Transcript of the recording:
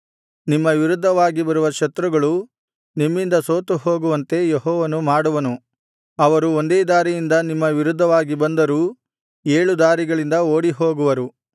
ನಿಮ್ಮ ವಿರುದ್ಧವಾಗಿ ಬರುವ ಶತ್ರುಗಳು ನಿಮ್ಮಿಂದ ಸೋತುಹೋಗುವಂತೆ ಯೆಹೋವನು ಮಾಡುವನು ಅವರು ಒಂದೇ ದಾರಿಯಿಂದ ನಿಮ್ಮ ವಿರುದ್ಧವಾಗಿ ಬಂದರೂ ಏಳು ದಾರಿಗಳಿಂದ ಓಡಿಹೋಗುವರು